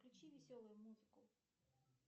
включи веселую музыку